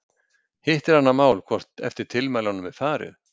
Hitt er annað mál hvort eftir tilmælunum er farið.